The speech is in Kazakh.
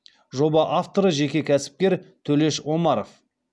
жоба авторы жеке кәсіпкер төлеш омаров